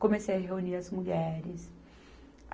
Comecei a reunir as mulheres.